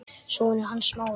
Sonur hans Smára.